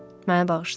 Mənə bağışlayıb.